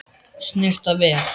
Snyrta vel.